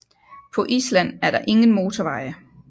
På Island er der ingen motorveje